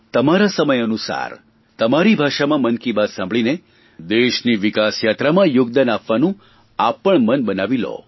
તમારા સમય અનુસાર તમારી ભાષામાં મન કી બાત સાંભળીને દેશની વિકાસયાત્રામાં યોગદાન આપવાનું આપ પણ મન બનાવી લો